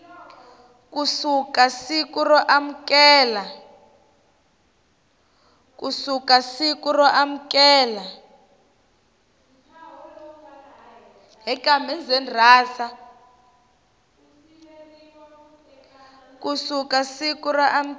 ku suka siku ro amukela